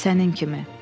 Sənin kimi.